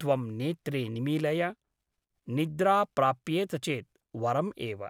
त्वं नेत्रे निमीलय । निद्रा प्राप्येत चेत् वरम् एव ।